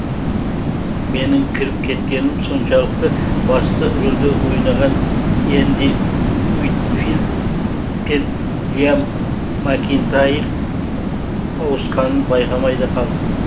менің кіріп кеткенім соншалықты басты рөлде ойнаған энди уитфилд пен лиам макинтайр ауысқанын байқамай да қалдым